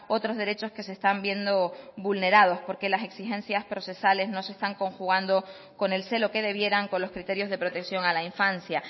otros derechos que se están viendo vulnerados porque las exigencias procesales no se están conjugando con el celo que debieran con los criterios de protección a la infancia